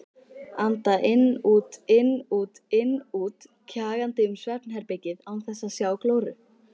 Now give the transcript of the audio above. Anda inn-út-inn-út-inn-út, kjagandi um svefnherbergið án þess að sjá glóru.